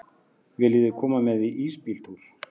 Viljiði koma með í ísbíltúr?